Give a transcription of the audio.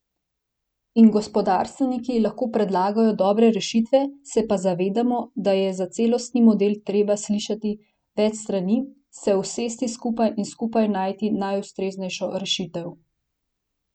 In gospodarstveniki lahko predlagajo dobre rešitve, se pa zavedamo, da je za celostni model treba slišati več strani, se usesti skupaj in skupaj najti najustreznejšo rešitev.